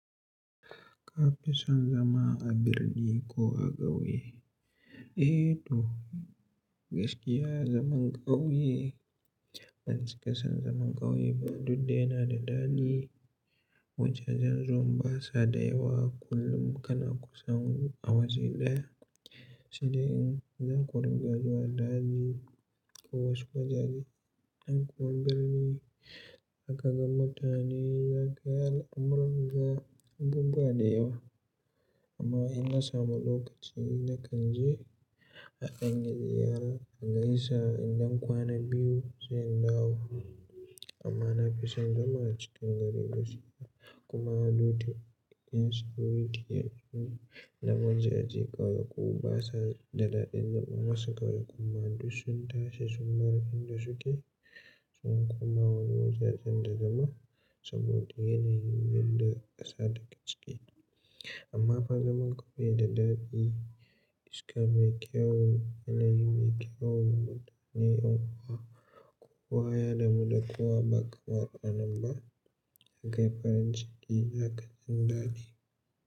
Kafi son zama a birni ko a ƙauye? Eh to gaskiya zaman ƙauye, banci ka san zaman ƙauye ba duk da yana da daɗi, wajajen zuwan basa da yawa kullum kana kusan a waje ɗaya. Sai dai in za ku riga zuwa daji ko wasu wajaje. In kuwa birni haka ga mutane za ka ga al'amurra ga abubuwa da yawa. Amma in na samu lokaci na kan je a Ingiliyar har na gaisa idan kwana biyu zan dawo. Amma na fi son zama a cikin gari gaskiya kuma due to in security na miji a je ƙauye ko basa da daɗin zama masu ƙauye kuma duk sun tashi sun bar inda suke sun kuma wani wajajen da zama saboda yanayin bin da ƙasa take ciki. Amma fa zaman ƙauye da daɗi iska mai kyawu, yanayi mai kyawu, mutane yan kuwa kowa ya damu da kowa ba kamar a nan ba. Ya kai farin ciki, ya kasance daɗi.